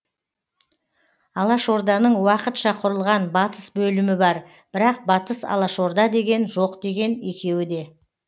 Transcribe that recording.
алашорданың уақытша құрылған батыс бөлімі бар бірақ батыс алашорда деген жоқ деген екеуі де